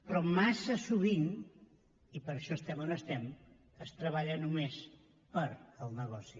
però massa sovint i per això estem on estem es treballa només pel negoci